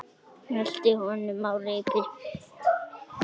Hældi honum á hvert reipi.